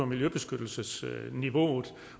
miljøbeskyttelsesniveauet